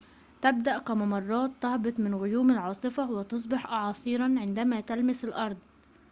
تبدأ كممرات تهبط من غيوم العاصفة وتصبح أعاصيرًا عندما تلمس الأرض